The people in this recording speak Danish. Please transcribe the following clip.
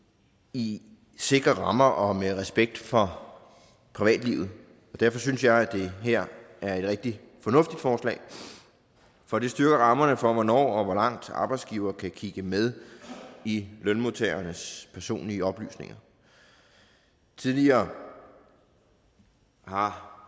i sikre rammer og med respekt for privatlivet derfor synes jeg det her er et rigtig fornuftigt forslag for det styrker rammerne for hvornår og hvor langt arbejdsgiverne kan kigge med i lønmodtagernes personlige oplysninger tidligere har